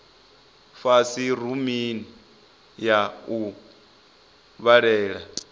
fhasi rumuni ya u vhalela